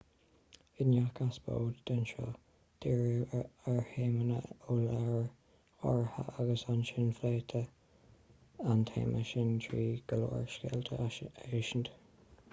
i ngach eipeasóid den seó dhírítí ar théama ó leabhar áirithe agus ansin phléití an téama sin trí go leor scéalta a insint